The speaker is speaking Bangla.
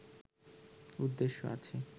উদ্দেশ্য আছে